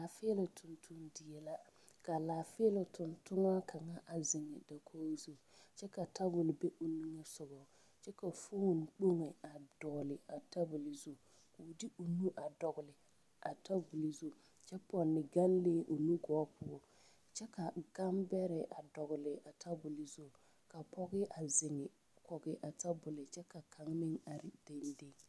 Laafiiloŋ tonton die la ka laafiiloŋ tontonɔ kaŋ a ziŋ dakog zu kyɛ ka tabol be o nige sɔgɔ ko foon kpoŋ a dɔgle a tabol zu koo de o nu a dɔgle a tabol zu kyɛ pɔnne ganlee o nu gɔɔ poɔ kyɛ ka gambɛrɛ a dɔgle a tabol zu ka pɔge a ziŋ kɔge a tabol kyɛ ka kaŋa meŋ are deŋdeŋ.